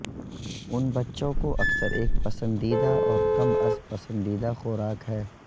ان بچوں کو اکثر ایک پسندیدہ اور کم از پسندیدہ خوراک ہے